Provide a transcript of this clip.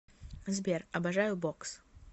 сбер обожаю бокс